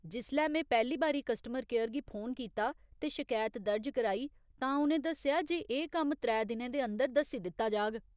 जिसलै में पैह्‌ली बारी कस्टमर केयर गी फोन कीता ते शकैत दर्ज कराई, तां उ'नें दस्सेआ जे एह् कम्म त्रै दिनें दे अंदर दस्सी दित्ता जाह्ग।